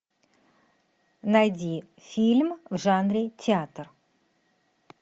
найди фильм в жанре театр